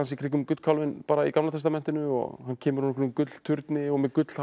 kringum gullkálfinn í Gamla testamentinu og hann kemur úr einhverjum gullturni og með